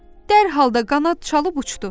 Dərhal da qanad çalıb uçdu.